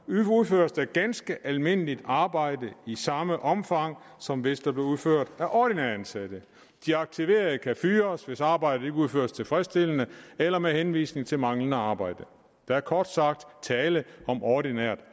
udføres der ganske almindeligt arbejde i samme omfang som hvis det bliver udført af ordinært ansatte de aktiverede kan fyres hvis arbejdet ikke udføres tilfredsstillende eller med henvisning til manglende arbejde der er kort sagt tale om ordinært